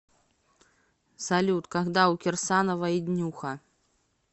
салют когда у кирсановой днюха